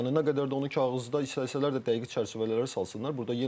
Yəni nə qədər də onu kağızda istəsələr dəqiq çərçivələrə salsınlar.